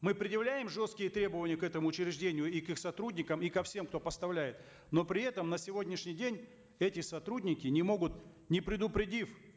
мы предъявляем жесткие требования к этому учреждению и к их сотрудникам и ко всем кто поставляет но при этом на сегодняшний день эти сотрудники не могут не предупредив